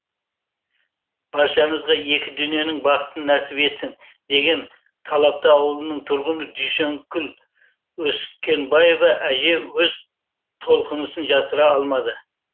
баршаңызға екі дүниенің бақытын нәсіп етсін деген талапты ауылының тұрғыны дүйсенкүл өскенбаева әже өз толқынысын жасыра алмады